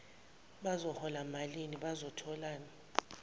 bazohola malini bazotholani